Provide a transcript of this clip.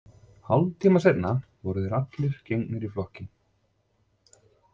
Hálftíma seinna voru þeir allir gengnir í flokkinn.